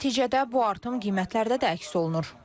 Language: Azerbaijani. Nəticədə bu artım qiymətlərdə də əks olunur.